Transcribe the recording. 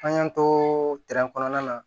An y'an to kɔnɔna na